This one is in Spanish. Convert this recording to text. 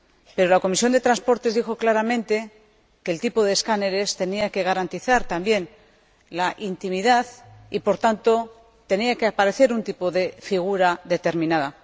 Pero la Comisión de Transportes dijo claramente que los escáneres tenían que garantizar también la intimidad y, por tanto, tenía que aparecer un tipo de figura determinada.